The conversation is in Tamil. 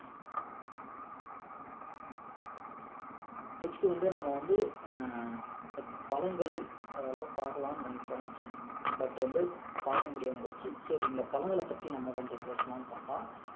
next வந்து நாம வந்து ஆஹ் இந்த பழங்கள் அதெல்லாம் பார்க்கலாம்னு நினைச்சோம் but வந்து பார்க்கமுடியாம போச்சு சரி இந்த பழங்களை பத்தி நம்ம கொஞ்சம் பேசலாம்னு பாத்தா